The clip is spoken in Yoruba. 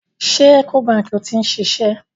Ṣé Ecobank ni ó ti ń ṣiṣẹ́?